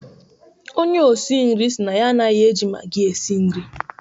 Onye isi nri sị na ya anaghị eji magi esi nri